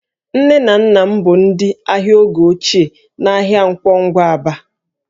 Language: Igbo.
Nne na nna m bụ ndị ahịa oge ochie n'ahịa Nkwọ Ngwa, Aba